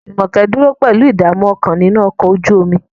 Jumoke dúró pẹ̀lú ìdààmú ọkàn nínú ọkọ̀ ojú omi.